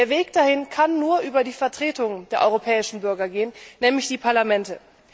Der Weg dahin kann nur über die Vertretung der europäischen Bürger gehen, nämlich die Parlamente.